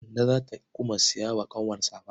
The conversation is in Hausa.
Kande za ta kuma saya wa ƙanwar safa.